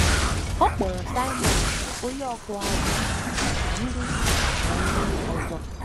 Ọ kpọọrọ Saịmọn onye ọkụ azụ̀ na ndị na ndị ọzọ.